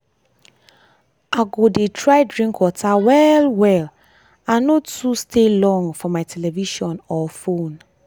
i go dey try drink water well well and no too stay long for my television or fone.